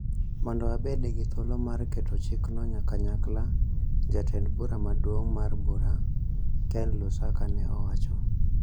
mondo wabed gi thuolo mar keto chikno kanyakla, jatend bura maduong' mar bura, Ken Lusaka, ne owacho.